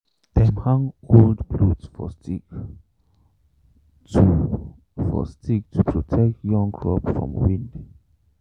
dem hang old cloth for stick to for stick to protect young crops from wind.